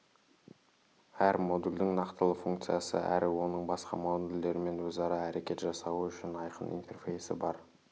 әр модульдің нақтылы функциясы әрі оның басқа модульдермен өзара әрекет жасауы үшін айқын интерфейсі бар